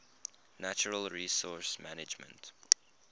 natural resource management